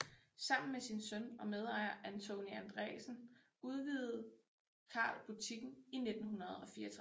Sammen med sin søn og medejer Antoni Andresen udvide Carl butikken i 1964